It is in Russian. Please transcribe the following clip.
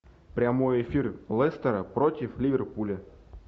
прямой эфир лестера против ливерпуля